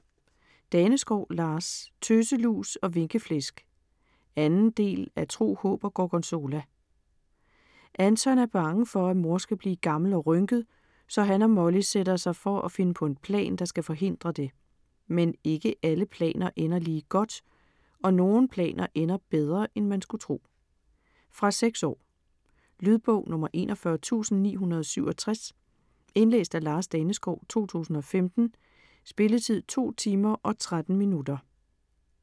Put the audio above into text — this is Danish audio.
Daneskov, Lars: Tøselus og vinkeflæsk 2. del af Tro, håb og gorgonzola. Anton er bange for at mor skal blive gammel og rynket, så han og Molly sætter sig for at finde på en plan, der skal forhindre det. Men ikke alle planer ender lige godt, og nogle planer ender bedre end man skulle tro. Fra 6 år. Lydbog 41967 Indlæst af Lars Daneskov, 2015. Spilletid: 2 timer, 13 minutter.